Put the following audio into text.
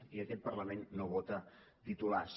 i aquest parlament no vota titulars